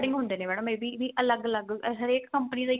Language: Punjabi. ਹੁੰਦੇ ਨੇ madam ਇਹ ਵੀ ਅਲੱਗ ਅਲੱਗ ਹਰੇਕ company ਦਾ ਇੱਕ